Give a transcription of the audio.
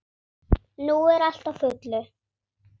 Nú er allt á fullu.